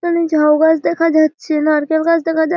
এখানে ঝাউ গাছ দেখা যাচ্ছে। নারকেল গাছ দেখা যা --